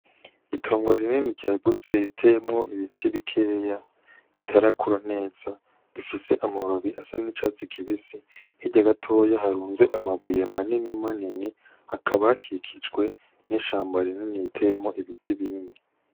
Itongo rinini ryagutse riteyemwo ibiti bikeya bitarakura neza bifise amababi asa n' icatsi kibisi hirya gatoya harunze amabuye manini manini hakaba hakikijwe n' ishamba rinini riteyemwo ibiti binini.